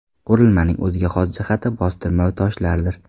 Qurilmaning o‘ziga xos jihati bostirma toshlardir.